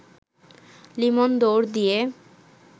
লিমন দৌড় দিয়ে